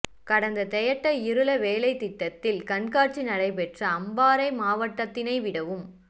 கடந்த தெயட்ட கிருள வெலைத்திட்டத்தில் கண்காட்சி நடைபெற்ற அம்பாறை மாவட்டத்தினை விடவும்